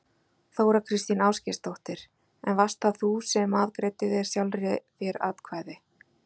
Þóra Kristín Ásgeirsdóttir: En varst það þú sem að greiddir sjálfri þér atkvæði?